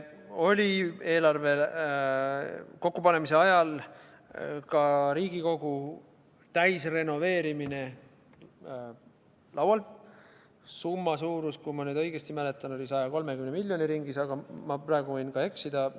Eelarve kokkupanemise ajal oli ka Riigikogu hoone täisrenoveerimine laual, summa suurus, kui ma õigesti mäletan, oli 130 miljoni ringis, aga ma praegu võin ka eksida.